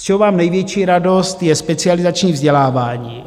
Z čeho mám největší radost, je specializační vzdělávání.